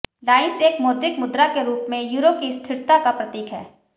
lines एक मौद्रिक मुद्रा के रूप में यूरो की स्थिरता का प्रतीक है